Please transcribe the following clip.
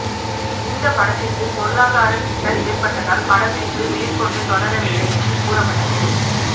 இந்த படத்திற்கு பொருளாதாரச் சிக்கல் ஏற்பட்டதால் படப்பிடிப்பு மேற்கொண்டு தொடரவில்லை என்று கூறப்பட்டது